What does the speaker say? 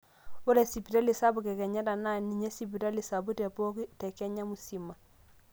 ore sipitali sapuk ekenyatta naa ninye sipitali sapuk tepooki te kenya musima